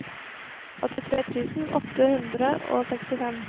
åttitre tusen åtte hundre og sekstifem